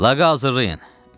"Laqı hazırlayın,"